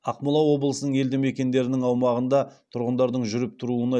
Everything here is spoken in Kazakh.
ақмола облысының елді мекендерінің аумағында тұрғындардың жүріп тұруына